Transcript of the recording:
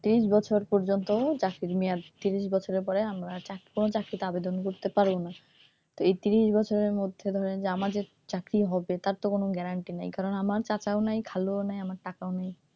ত্রিশ বছর পর্যন্ত চাকরির মেয়াদ তারপর ত্রিশ বছরের পরে আমরা কোনো চাকরির আবেদন করতে পারবো না এই ত্রিশ বছরের মধ্যে ধরেন যে আমাদের চাকরি হবে তার তো কোনো guarantee নাই কারণ আমার চাচাও নাই খালুও নাই টাকাও নাই,